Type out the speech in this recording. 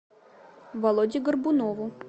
володе горбунову